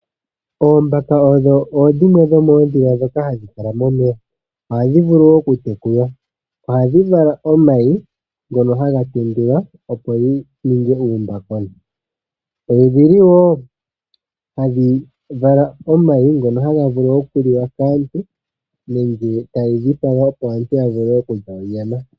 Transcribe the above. Oombaka odho dhimwe dhomoondhila ndhoka hadhi kala momeya. Ohadhi vulu wo okutekulwa. Ohadhi vala omayi ngono haga tendulwa, opo ga ninge uumbakona. Odhi li wo hadhi vala omayi ngono haga vulu okuliwa kaantu nenge taye yi dhipaga, opo aantu ya vule okulya onyama.